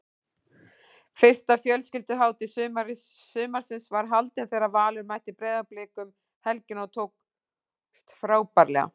Fyrsta fjölskylduhátíð sumarsins var haldin þegar Valur mætti Breiðablik um helgina og tókst frábærlega.